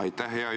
Aitäh!